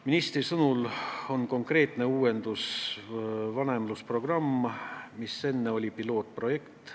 Ministri sõnul on konkreetne uuendus vanemlusprogramm, mis enne oli pilootprojekt.